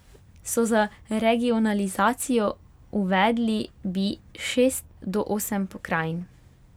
So za regionalizacijo, uvedli bi šest do osem pokrajin.